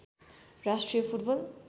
राष्ट्रिय फुटबल